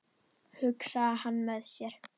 hugsaði hann með sér.